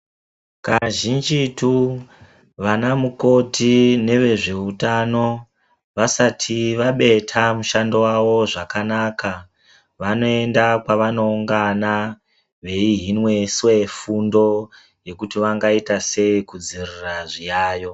Kazhinjitu vanamukoti nevezveutano vasati vabeta mushando wavo zvakanaka vanoenda kwavanoungana veihiniswe fundo kuti vangaitasei kudzivirira zviyaiyo.